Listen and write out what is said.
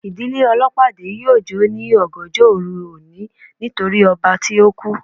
Ìdílé olopade yóò jo ni ọgànjọ oru oni nítorí ọba tí oku